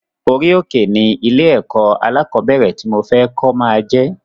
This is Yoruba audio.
Orí òkè ni ilé ẹ̀kọ́ alákọ̀bẹ́rẹ̀ ti mo fẹ kó máa jẹ